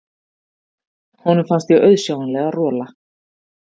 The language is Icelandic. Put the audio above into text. Honum fannst ég auðsjáanlega rola.